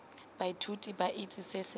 baithuti ba itse se se